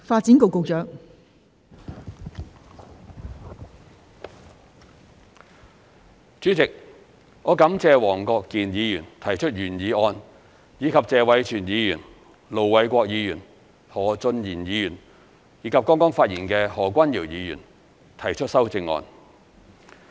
代理主席，我感謝黃國健議員提出原議案，以及謝偉銓議員、盧偉國議員、何俊賢議員和剛剛發言的何君堯議員提出修正案。